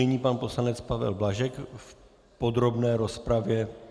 Nyní pan poslanec Pavel Blažek v podrobné rozpravě.